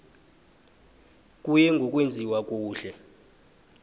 kuye ngokwenziwa kuhle